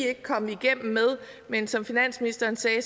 er kommet igennem med men som finansministeren sagde